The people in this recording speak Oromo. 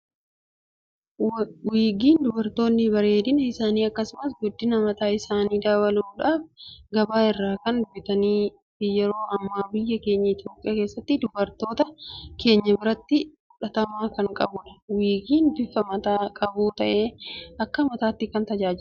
Wiigiin dubartoonni bareedina isaanii akkasumas guddina mataa isaanii dabaluudhaaf gabaa irraa kan bitatanii fi yeroo amma biyya keenya Itoophiyaa keessatti dubartoota keenya biratti fudhatama kan qabudha. wiigiin bifa mataa qabu ta'ee akka mataatti kan tajaajiludha.